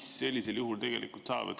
Mis sellisel juhul saab?